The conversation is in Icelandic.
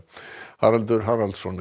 Haraldur Haraldsson